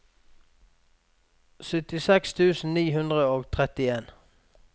syttiseks tusen ni hundre og trettien